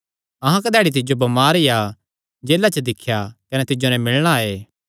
अहां कधैड़ी तिज्जो बमार या जेला च दिख्या कने तिज्जो नैं मिलणा आये